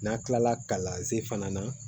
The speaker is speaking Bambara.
N'a kilala kalanzen fana na